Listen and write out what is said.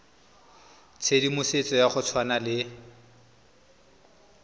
tshedimosetso ya go tshwana le